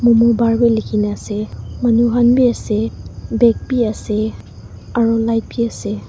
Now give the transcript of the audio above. momobar bi likhi ne ase manu khan bi ase bag bi ase aru light bi ase.